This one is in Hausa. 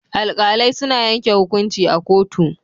Alkalai suna yanke hukunci a kotu.